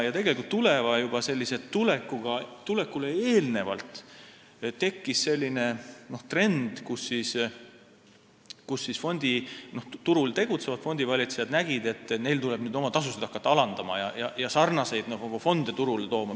Tegelikult aga tekkis juba enne Tuleva tulekut selline trend, kus turul tegutsevad fondivalitsejad nägid, et neil tuleb nüüd hakata oma tasusid alandama ja sarnaseid fonde turule tooma.